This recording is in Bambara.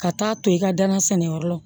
Ka taa to i ka danan sɛnɛyɔrɔ la